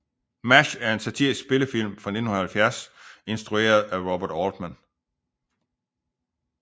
MASH er en satirisk spillefilm fra 1970 instrueret af Robert Altman